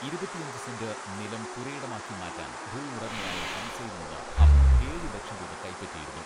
ഇരുപത്തിയഞ്ച് സെന്റ് നിലം പുരയിടമാക്കി മാറ്റാൻ ഭൂവുടമയായ ഹംസയിൽ നിന്ന് അബു ഏഴ് ലക്ഷം രൂപ കൈപ്പറ്റിയിരുന്നു.